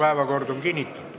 Päevakord on kinnitatud.